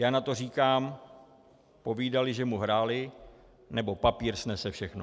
Já na to říkám - povídali, že mu hráli, nebo papír snese všechno.